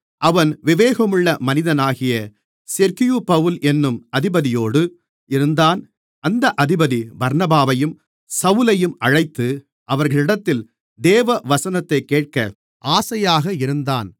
அவன் விவேகமுள்ள மனிதனாகிய செர்கியுபவுல் என்னும் அதிபதியோடு இருந்தான் அந்த அதிபதி பர்னபாவையும் சவுலையும் அழைத்து அவர்களிடத்தில் தேவவசனத்தைக் கேட்க ஆசையாக இருந்தான்